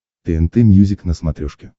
тнт мьюзик на смотрешке